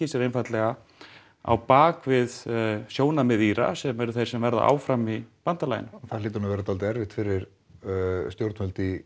sér einfaldlega á bak við sjónarmið Íra sem eru þeir sem verða áfram í bandalaginu það hlýtur nú að verða dálítið erfitt fyrir stjórnvöld í